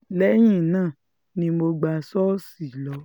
lẹ́yìn náà ni mo gbà ṣọ́ọ̀ṣì lọ